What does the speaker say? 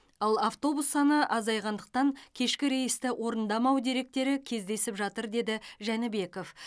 ал автобус саны азайғандықтан кешкі рейсті орындамау деректері кездесіп жатыр деді жәнібеков